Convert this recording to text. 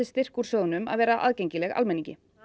styrkt úr sjóðnum að vera aðgengileg almenningi